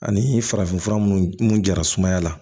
Ani farafin fura mun jara sumaya la